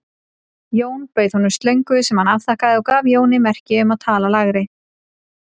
Jón bauð honum slöngu sem hann afþakkaði og gaf Jóni merki um að tala lægra.